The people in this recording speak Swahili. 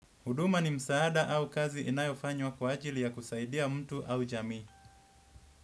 Huduma ni msaada au kazi inayofanywa kwa ajili ya kusaidia mtu au jamii.